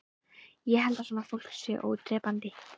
Ég held að svona fólk sé ódrepandi